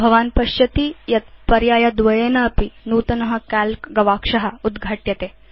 भवान् पश्यति यत् पर्यायद्वयेनापि नूतन काल्क गवाक्ष उद्घाट्यते